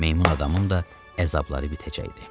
Meymun adamın da əzabları bitəcəkdi.